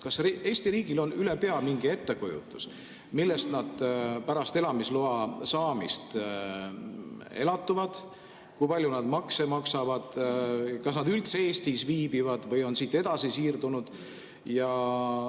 Kas Eesti riigil on ülepea mingi ettekujutus, millest nad pärast elamisloa saamist elatuvad, kui palju nad makse maksavad, kas nad üldse Eestis viibivad või on siit edasi siirdunud?